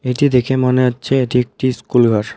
এটি দেখে মনে হচ্ছে এটি একটি স্কুলঘর.